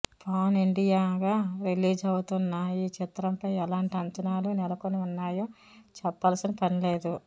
pan India గా release అవుతున్న ఈ చిత్రం ఫై ఎలాంటి అంచనాలు నెలకొని ఉన్నాయో చెప్పాల్సిన పని లేదు